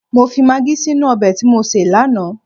Mọ fi magí sínú ọbẹ̀ tí mọ sé lánàá